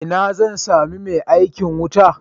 Ina zan sami mai aikin wuta?